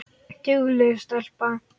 Dugleg stelpa